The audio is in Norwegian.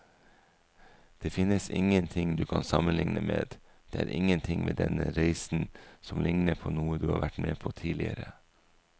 Det finnes ingenting du kan sammenligne med, det er ingenting ved denne reisen som ligner på noe du har vært med på tidligere.